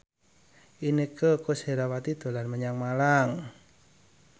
Inneke Koesherawati dolan menyang Malang